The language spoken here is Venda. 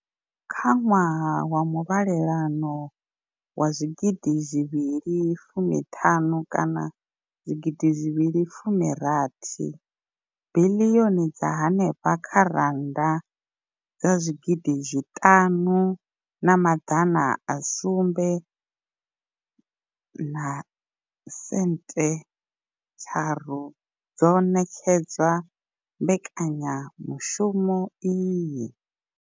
Kha ṅwaha wa muvhalelano wa zwigidi zwivhili fumi ṱhanu kana zwigidi zwivhili fumi rathi, biḽioni dza henefha kha rannda dza zwigidi zwiṱanu na maḓana a sumbe na sente tharu dzo ṋetshedzwa mbekanyamushumo iyi.